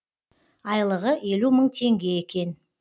айлығы елу мың теңге екен